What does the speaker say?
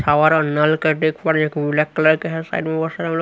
हमारा नल का देख पा रही एक ब्लैक कलर के हैं साइड में बहोत सारा मतलब--